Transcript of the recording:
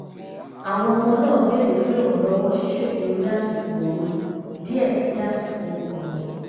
àwọn ọmọ náà bèrè fún ìrànlọ́wọ́ ṣíṣètò eré àsìkò ooru díẹ̀ sí àsìkò ọ̀gbìn